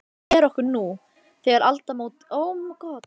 Nýlega hefur Orkuveita Reykjavíkur tekið við þessum rekstri.